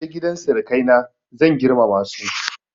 In na je gidan sirikaina zan girmama su.